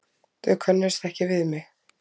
Þau könnuðust ekki við mig.